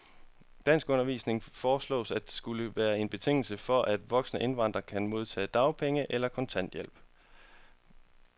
Danskundervisning foreslås at skulle være en betingelse for, at voksne indvandrere kan modtage dagpenge eller kontanthjælp.